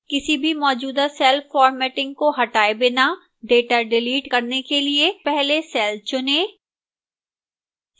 किसी भी मौजूदा cell formatting को हटाए बिना data डिलीट करने के लिए पहले cell चुनें